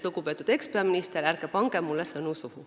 Lugupeetud ekspeaminister, ärge pange mulle sõnu suhu.